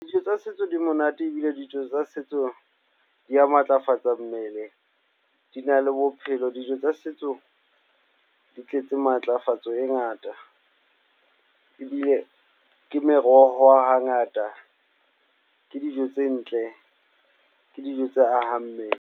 Dijo tsa setso di monate ebile dijo tsa setso di ya matlafatsa mmele, di na le bophelo. Dijo tsa setso di tletse matlafatso e ngata ebile ke meroho hangata, ke dijo tse ntle, ke dijo tse ahang mmele.